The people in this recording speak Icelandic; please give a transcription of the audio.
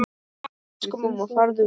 Elsku mamma, farðu vel.